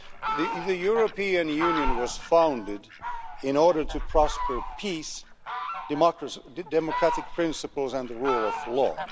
The European Union was founded in order to prosper peace, democratic principles and the rule of law.